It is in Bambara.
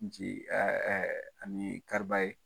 Nci ani Kariba ye.